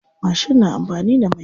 Mashin na amfani da mai.